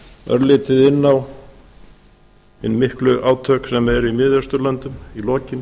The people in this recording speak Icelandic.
örlítið aukinn á hin miklu átök sem eru í mið austurlöndin í lokin